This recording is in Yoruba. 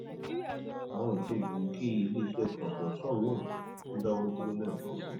àwọn ètò gboogi iléiṣẹ kọństrọọkṣọn náà tún dáwọ dúró lẹẹkansi